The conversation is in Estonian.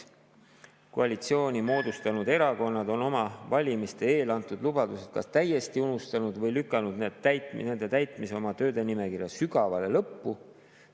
Koalitsiooni moodustanud erakonnad on oma valimiste eel antud lubadused kas täiesti unustanud või lükanud nende täitmise oma tööde nimekirja sügavale lõppu.